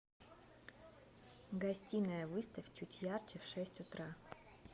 гостиная выставь чуть ярче в шесть утра